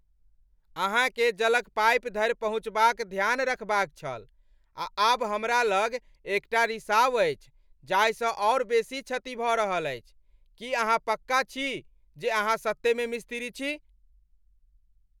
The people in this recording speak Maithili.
अहाँ केँ जलक पाइप धरि पहुँचबाक ध्यान रखबाक छल, आ आब हमरा लग एकटा रिसाव अछि जाहिसँ आओर बेसी क्षति भऽ रहल अछि! की अहाँ पक्का छी जे अहाँ सत्ते में मिस्त्री छी?